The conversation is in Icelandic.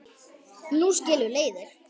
Nú skilur leiðir.